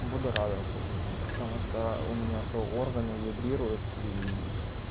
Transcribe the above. буду радоваться жизни потому что у меня-то органы вибрирует и